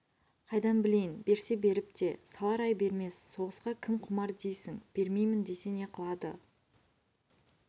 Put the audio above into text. қайдан білейін берсе беріп те салар ай бермес соғысқа кім құмар дейсің бермеймін десе не қылады